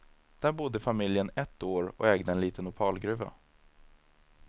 Där bodde familjen ett år och ägde en liten opalgruva.